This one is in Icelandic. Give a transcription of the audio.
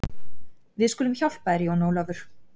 Við skulum hjálpa þér Jón Ólafur.